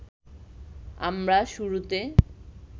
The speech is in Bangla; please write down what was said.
আমরা শুরুতে